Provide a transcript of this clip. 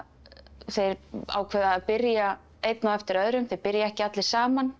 þeir ákveða að byrja einn á eftir öðrum þeir byrja ekki allir saman